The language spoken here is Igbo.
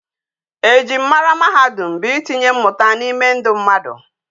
Ejim mara mahadum bu itinye mmuta na ime ndi mmadu